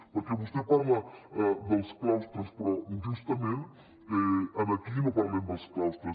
perquè vostè parla dels claustres però justament aquí no parlem dels claustres